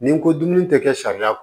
Nin ko dumuni tɛ kɛ sariya